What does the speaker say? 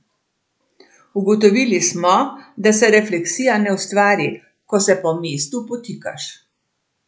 Ugotovili smo, da se refleksija ne ustvari, ko se po mestu potikaš.